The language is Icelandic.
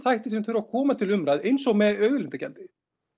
þættir að koma til umræðu eins og með auðlindagjaldið